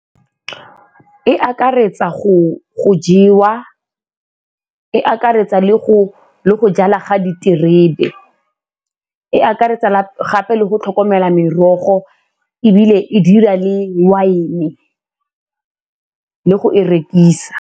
E akaretsa go jewa, e akaretsa le go jala ga diterebe, e akaretsa gape le go tlhokomela merogo ebile e dira le wine-e le go e rekisa.